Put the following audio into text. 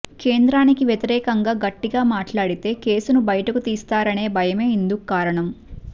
కేంద్రానికి వ్యతిరేకంగా గట్టిగా మాట్లాడితే కేసును బయటకు తీస్తారనే భయమే ఇందుకు కారణం